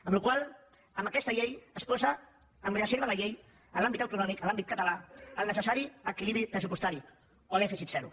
amb la qual cosa amb aquesta llei es posa en reserva la llei en l’àmbit autonòmic en l’àmbit català el necessari equilibri pressupostari o dèficit zero